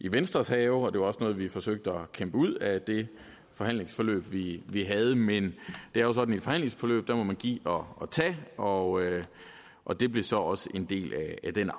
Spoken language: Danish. i venstres have og det var også noget vi forsøgte at kæmpe ud af det forhandlingsforløb vi vi havde men det er jo sådan i et forhandlingsforløb at der må man give og og tage og og det blev så også en del af den